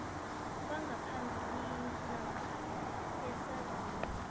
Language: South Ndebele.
bangaphambilini namkha esazini